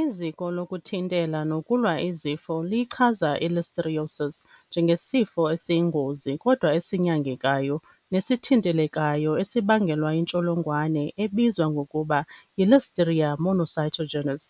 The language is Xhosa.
Iziko lokuThintela nokuLwa iZifo liyichaza i-Listeriosis njengesifo esiyingozi kodwa esinyangekayo nesithintelekayo esibangelwa yintsholongwane ebizwa ngokuba yi-Listeria monocytogenes.